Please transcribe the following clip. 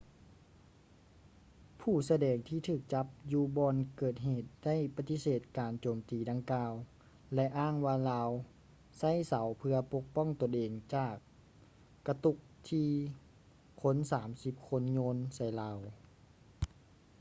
ຜູ້ສະແດງທີ່ຖືກຈັບຢູ່ບ່ອນເກີດເຫດໄດ້ປະຕິເສດການໂຈມຕີດັ່ງກ່າວ ແລະ ອ້າງວ່າລາວໃຊ້ເສົາເພື່ອປົກປ້ອງຕົນເອງຈາກກະຕຸກທີ່ຄົນສາມສິບຄົນໂຍນໃສ່ລາວ